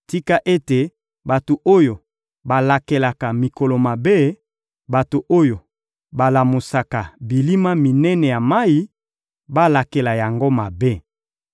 Tika ete bato oyo balakelaka mikolo mabe, bato oyo balamusaka bilima minene ya mayi, balakela yango mabe!